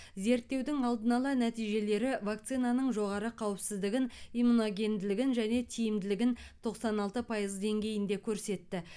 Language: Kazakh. зерттеудің алдын ала нәтижелері вакцинаның жоғары қауіпсіздігін иммуногенділігін және тиімділігін тоқсан алты пайыз деңгейінде көрсетті